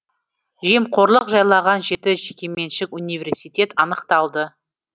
жемқорлық жайлаған жеті жекеменшік университет анықталды